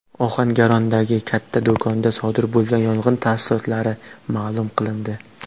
Ohangarondagi katta do‘konda sodir bo‘lgan yong‘in tafsilotlari ma’lum qilindi.